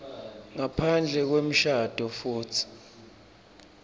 ngaphandle kwemshado futsi